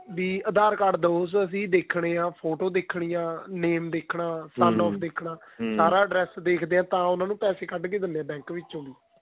ਵੀ aadhar card ਦਹੋ ਅਸੀਂ ਦੇਖਣੇ ਹਾਂ ਫ਼ੋਟੋ ਦੇਖਣੀ ਆਂ name ਦੇਖਣਾ ਸਾਰਾ address ਦੇਖਦੇ ਹਾਂ ਤਾਂ ਉਹਨਾ ਨੂੰ ਪੈਸੇ ਕੱਢਕੇ ਦਿੰਦੇ ਹਾਂ bank ਵਿਚੋਂ ਦੀ